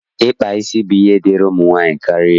Ịkpa isi bụ ihe dịịrị ụmụ nwaanyị karịa.